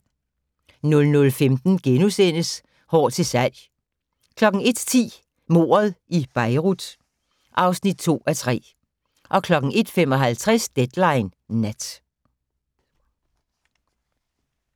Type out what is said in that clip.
00:15: Hår til salg * 01:10: Mordet i Beirut (2:3) 01:55: Deadline Nat